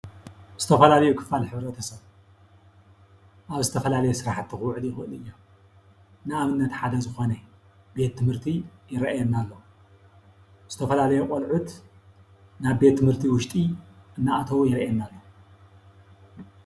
ዝተፈላለዩ ክፋል ሕብረተሰብ ኣብ ዝተፈላለየ ስራሕቲ ኽውዕሉ ይኽእሉ እዮም፡፡ ንኣብነት ሓደ ዝኾነ ቤት ትምህርቲ ይረኣየና እሎ ፡፡ ዝተፈላለዩ ቆልዑት ናብ ቤት ትምህርቲ ውሽጢ እናኣተዉ ይረአየና ኣሎ፡፡